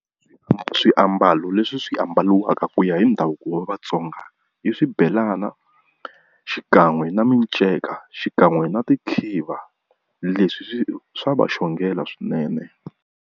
Swiambalo leswi swi ambariwaka ku ya hi ndhavuko wa Vatsonga, i swibelana xikan'we na miceka xikan'we na tikhiva. Leswi swa va xongela swinene.